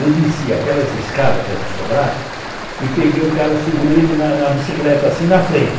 Eu desci aquelas escadas que eram sobrado e peguei o cara, segurei ele na na bicicleta assim na frente.